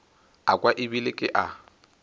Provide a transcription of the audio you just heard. a kwa ebile ke a